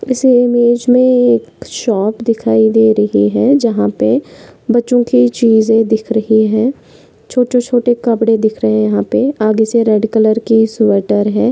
इस इमेज मे एक शॉप दिखाई दे रही है जहा पे बच्चो की चीजे दिख रही है। छोटे छोटे कपड़े दिख रहे है। यहा पर आगे से रेड कलर के स्वेटर --